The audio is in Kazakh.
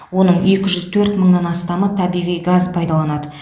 оның екі жүз мыңнан астамы табиғи газ пайдаланады